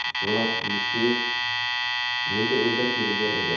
Vlad Listyev nega o‘ldirib ketilgan edi?.